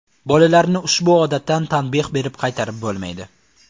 Bolalarni ushbu odatdan tanbeh berib qaytarib bo‘lmaydi.